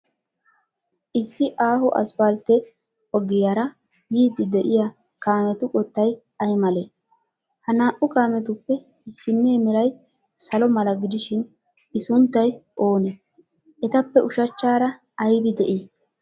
Issi aaho asppaltte ogiyaara yiiddi de'iya kaametu qottay ay malee? Ha naa''u kaametuppe issinnee meray salo mala gidishin, l sunttay oonee? Etappe usachchaara aybi de'ii?